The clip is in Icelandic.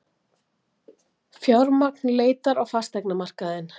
Fjármagn leitar á fasteignamarkaðinn